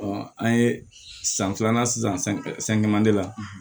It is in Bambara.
an ye san filanan san san la